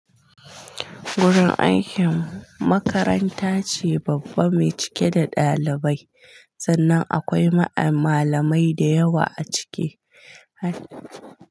Gurin aikinmu makaranta ce babba me cike da ɗalibai, sannan akwai ma'a malamai da yawa a ciki.